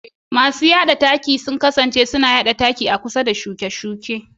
Masu yada taki suna taimakawa wajen yada taki a kusa da shuke-shuke.